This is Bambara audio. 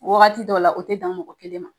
Wagati dɔw la, u tɛ dan mɔgɔ kelen ma!